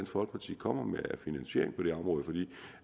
folkeparti kommer med af finansiering på det område for